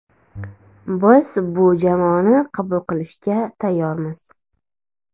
Biz bu jamoani qabul qilishga tayyormiz.